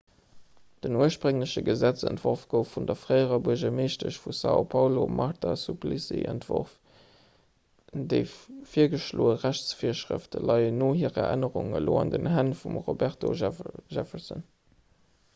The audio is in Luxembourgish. den urspréngleche gesetzentworf gouf vun der fréierer buergermeeschtesch vu são paulo marta suplicy entworf. déi virgeschloe rechtsvirschrëfte leien no hirer ännerung elo an den hänn vum roberto jefferson